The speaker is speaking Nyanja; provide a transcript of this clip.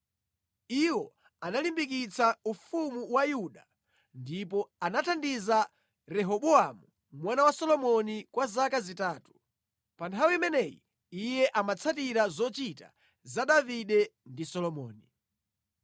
Iwo analimbikitsa ufumu wa Yuda, ndipo anathandiza Rehobowamu mwana wa Solomoni kwa zaka zitatu. Pa nthawi imeneyi iye amatsatira zochita za Davide ndi Solomoni.